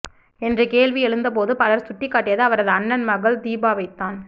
என்ற கேள்வி எழுந்தபோது பலர் சுட்டிக்காட்டியது அவரது அண்ணன் மகள் தீபாவைத்தான்